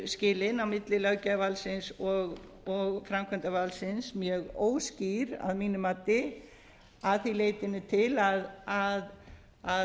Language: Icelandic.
skilin á milli löggjafarvaldsins og framkvæmdarvaldsins mjög óskýr að mínu mati að því leytinu til að